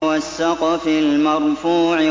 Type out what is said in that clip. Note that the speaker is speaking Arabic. وَالسَّقْفِ الْمَرْفُوعِ